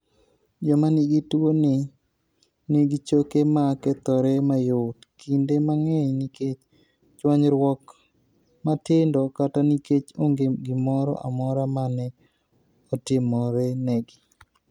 Joma nigi tuwoni nigi choke ma kethore mayot, kinde mang'eny nikech chwanyruok matindo kata nikech onge gimoro amora ma ne otimorenegi.